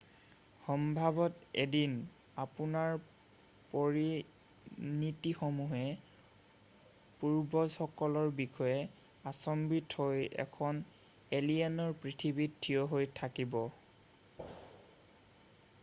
সম্ভৱত 1দিন আপোনাৰ পৰিনাতিসমূহে পূৰ্বজসকলৰ বিষয়ে আশ্চম্বিত হৈ এখন এলিয়েনৰ পৃথিৱীত থিয় হৈ থাকিব